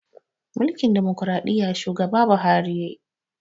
Mulkin ɗumukraɗiya shugaba buhari yayi